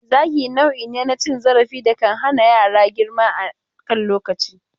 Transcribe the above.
Zagi nau'i ne na cin zarafi da kan hana yaran girma a kan lokaci.